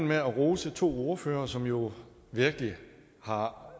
med at rose to ordførere som jo virkelig har